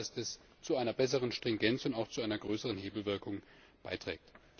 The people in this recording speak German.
Ich glaube, dass das zu einer besseren Stringenz und auch zu einer größeren Hebelwirkung beiträgt.